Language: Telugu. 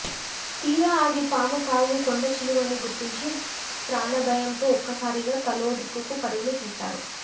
తీరా అది పాము కాదు కొండచిలువని గుర్తించి ప్రాణభయంతో ఒక్కసారిగా తలో దిక్కుకు పరుగులు తీశారు